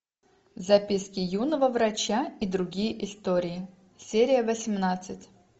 записки юного врача и другие истории серия восемнадцать